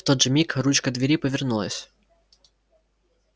в тот же миг ручка двери повернулась